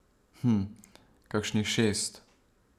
Hm, kakšnih šest.